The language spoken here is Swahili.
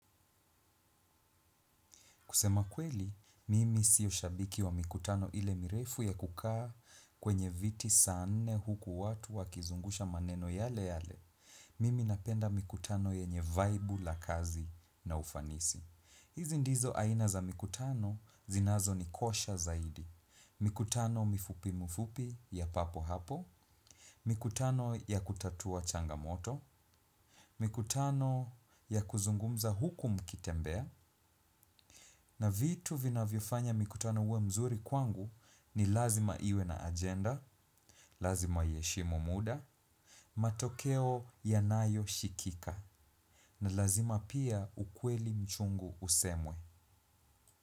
Kusema kweli, mimi sio shabiki wa mikutano ile mirefu ya kukaa kwenye viti saa nne huku watu wakizungusha maneno yale yale. Mimi napenda mikutano yenye vaibu la kazi na ufanisi. Hizi ndizo aina za mikutano zinazonikosha zaidi. Mikutano mifupi mifupi ya papo hapo. Mikutano ya kutatua changamoto. Mikutano ya kuzungumza huku mkitembea. Na vitu vinavyofanya mikutano uwe mzuri kwangu ni lazima iwe na ajenda, lazima iheshimu muda, matokeo yanayoshikika, na lazima pia ukweli mchungu usemwe.